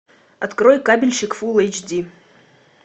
открой кабельщик фул эйч ди